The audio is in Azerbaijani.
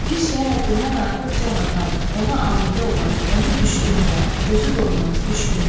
Bir şeyə həddindən artıq can atan, ona aludə olan, onun düşgünü olan, gözü doymaz, düşgün.